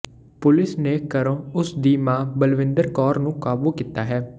police ਨੇ ਘਰੋਂ ਉਸ ਦੀ ਮਾਂ ਬਲਵਿੰਦਰ ਕੌਰ ਨੂੰ ਕਾਬੂ ਕੀਤਾ ਹੈ